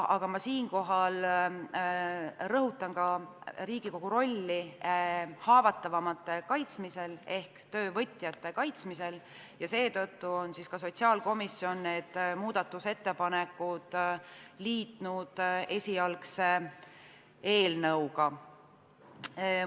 Samas rõhutan Riigikogu rolli haavatavamate inimeste kaitsmisel ehk töövõtjate kaitsmisel ja seetõttu ongi sotsiaalkomisjon need muudatusettepanekud esialgse eelnõuga liitnud.